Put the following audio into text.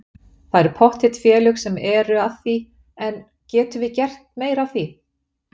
Það eru pottþétt félög sem eru að því en getum við gert meira af því?